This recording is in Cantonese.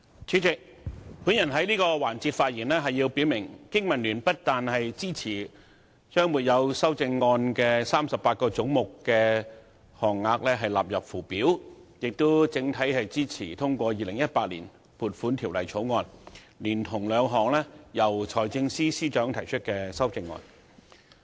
主席，我在這個環節發言，表明香港經濟民生聯盟不但支持把沒有修正案的38個總目的款額納入附表，而且整體支持通過《2018年撥款條例草案》，以及由財政司司長提出的兩項修正案。